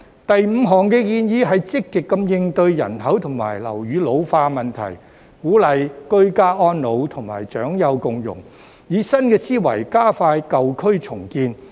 第五項建議是積極應對人口及樓宇老化的問題，鼓勵居家安老及長幼共融，以新思維加快舊區重建。